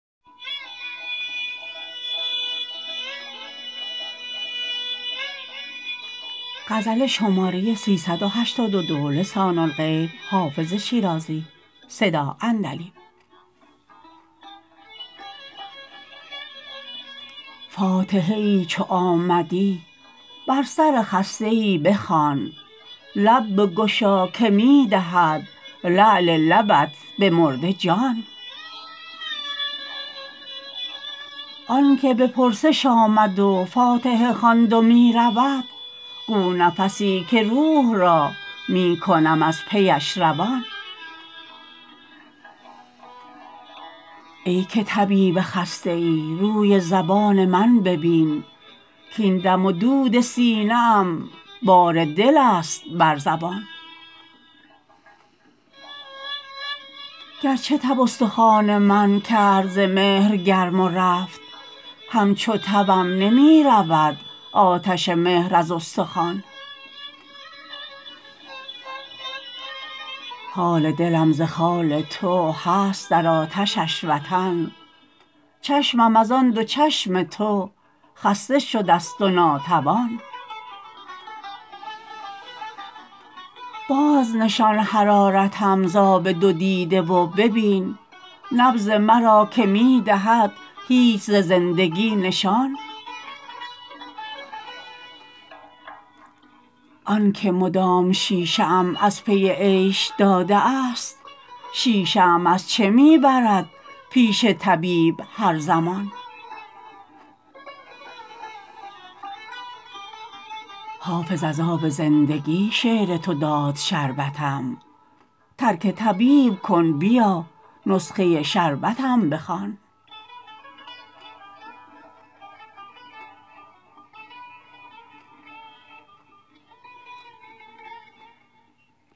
فاتحه ای چو آمدی بر سر خسته ای بخوان لب بگشا که می دهد لعل لبت به مرده جان آن که به پرسش آمد و فاتحه خواند و می رود گو نفسی که روح را می کنم از پیش روان ای که طبیب خسته ای روی زبان من ببین کـاین دم و دود سینه ام بار دل است بر زبان گرچه تب استخوان من کرد ز مهر گرم و رفت همچو تبم نمی رود آتش مهر از استخوان حال دلم ز خال تو هست در آتشش وطن چشمم از آن دو چشم تو خسته شده ست و ناتوان بازنشان حرارتم ز آب دو دیده و ببین نبض مرا که می دهد هیچ ز زندگی نشان آن که مدام شیشه ام از پی عیش داده است شیشه ام از چه می برد پیش طبیب هر زمان حافظ از آب زندگی شعر تو داد شربتم ترک طبیب کن بیا نسخه شربتم بخوان